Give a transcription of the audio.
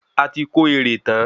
Ati kó èrè tán